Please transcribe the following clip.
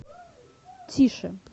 тише